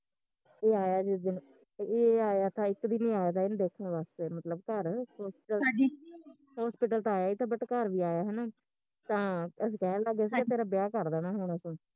ਏਹ ਆਇਆ ਜਿਸ ਦਿਨ, ਏਹ ਆਇਆ ਤਾ ਇੱਕ ਦਿਨ ਈ ਆਇਆ ਥਾ ਇਹਨੂੰ ਦੇਖਣ ਵਾਸਤੇ ਮਤਲਬ ਘਰ hospital ਤਾਂ ਆਇਆ ਤਾ but ਘਰ ਵੀ ਆਇਆ ਹੈਨਾ ਤਾਂ ਅੱਸੀ ਕਹਿਣ ਲੱਗਗੇ ਅੱਸੀ ਕਿਹਾ ਤੇਰਾ ਵਿਆਹ ਕਰ ਦੇਣਾ ਹੁਣ ਅਸੀਂ